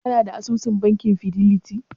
Kana da asusun bankin fideliti?